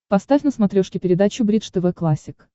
поставь на смотрешке передачу бридж тв классик